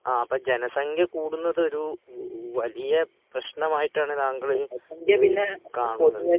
ആഹ് അപ്പോ ജനസംഖ്യകൂടുന്നതൊരു വ വലിയപ്രശ്നമായിട്ടാണ് താങ്കളിൽ കാണുന്നത്